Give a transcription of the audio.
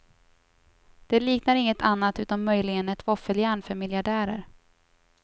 Det liknar inget annat utom möjligen ett våffeljärn för miljardärer.